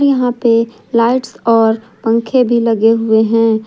यहां पर लाइट्स और पंखे भी लगे हुए हैं।